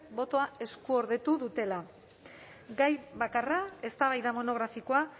botoa eskuordetu dutela gai bakarra eztabaida monografikoa